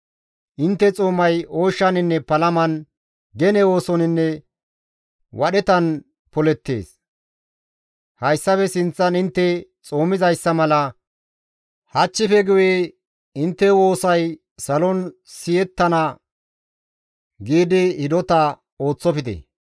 Intte xoomay ooshshaninne palaman, gene oosoninne wadhetan polettees; hayssafe sinththan intte xoomizayssa mala hachchife guye intte woosay salon siyettana giidi hidota ooththofte.